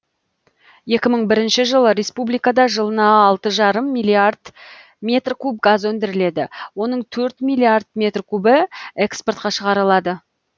екі мың бірінші жылы республикада жылына алты жарым миллиард метр куб газ өндіріледі оның төрт миллиард метр кубі экспортқа шығарылады